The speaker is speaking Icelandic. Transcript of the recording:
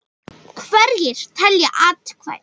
Hverjir telja atkvæðin?